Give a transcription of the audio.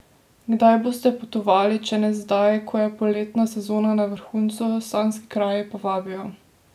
Kdaj boste potovali, če ne zdaj, ko je poletna sezona na vrhuncu, sanjski kraji po vabijo?